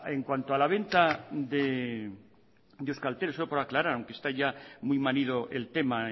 en cuanto a la venta de euskaltel solo por aclarar aunque está ya muy manido el tema